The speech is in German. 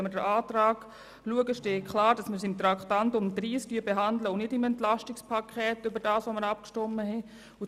Betrachten wir den Antrag, so besagt dieser klar, dass er als Traktandum 30 behandelt wird und nicht im Rahmen des Entlastungspakets.